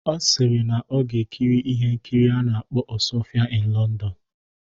Ọ sịrị na ya ga-ekiri ihe nkiri a na-akpọ "Osuofia in London"